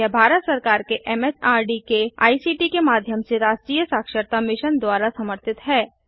यह भारत सरकार के एमएचआरडी के आईसीटी के माध्यम से राष्ट्रीय साक्षरता मिशन द्वारा समर्थित है